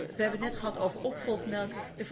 We hebben het net gehad over opvolgmelk